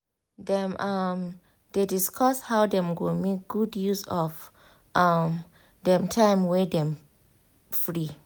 dem um dey discuss how dem go make good use of um dem time wey dem free.